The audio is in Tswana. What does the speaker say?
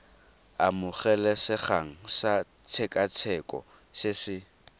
amogelesegang sa tshekatsheko se se